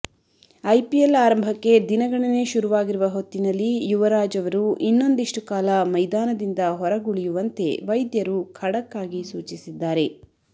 IPL ಆರಂಭಕ್ಕೆ ದಿನಗಣನೆ ಶುರುವಾಗಿರುವ ಹೊತ್ತಿನಲ್ಲಿ ಯುವರಾಜ್ ಅವರು ಇನ್ನೊಂದಿಷ್ಟು ಕಾಲ ಮೈದಾನದಿಂದ ಹೊರಗುಳಿಯುವಂತೆ ವೈದ್ಯರು ಖಡಕ್ ಆಗಿ ಸೂಚಿಸಿದ್ದಾರೆ